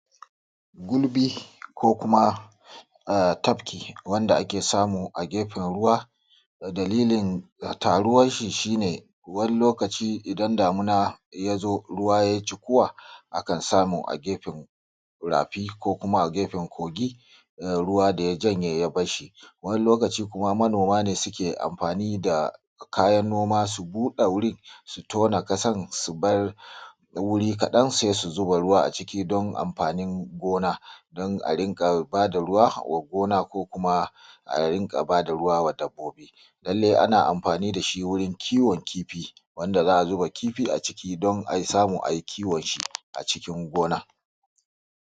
Gulbi ko kuma tafki wanda ake samu a gefen ruwa. Dalilin taruwar shi shi ne, wani lokaci idan damuna ya zo ruwa yai cikuwa akan samu a gefen rafi ko a kuma gefen kogi da ruwa ya janye ya bar shi Wani lokaci kuma manoma suke amfani da kayan noma su buɗe wurin su tona ƙasar su bar wuri kaɗan sai zuba ruwa a ciki don amfanin gona. Don a riƙa ba da ruwa wa gona ko kuma a ba da ruwa ga dabbobi lallai ana amfani da shi wurin kiwon kifi, wanda za a zuba kifi a ciki don a samu a yi kiwon shi a cikin gona